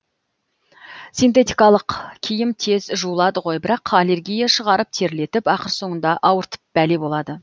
синтетикалық киім тез жуылады ғой бірақ аллергия шығарып терлетіп ақыр соңында ауыртып бәле болады